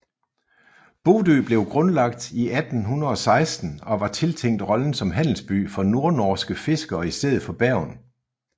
Bodø blev grundlagt i 1816 og var tiltænkt rollen som handelsby for nordnorske fiskere i stedet for Bergen